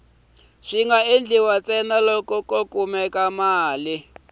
swi nga endliwa ntsena loko